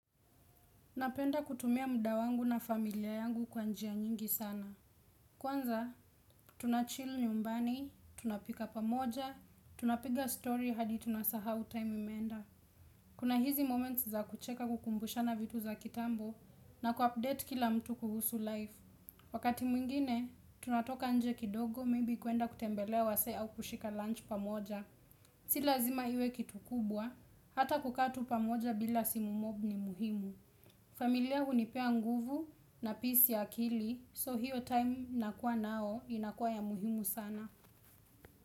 Napenda kutumia muda wangu na familia yangu kwanjia nyingi sana. Kwanza, tunachill nyumbani, tunapika pamoja, tunapiga story hadi tunasahau time imeenda. Kuna hizi moments za kucheka kukumbusha na vitu za kitambo na kuupdate kila mtu kuhusu life. Wakati mwingine, tunatoka nje kidogo may be kuenda kutembelea wazee au kushika lunch pamoja. Silazima iwe kitu kubwa, hata kukaa tu pamoja bila simu mob ni muhimu. Familia hunipea nguvu na peace ya akili so hiyo time nakua nao inakua ya muhimu sana.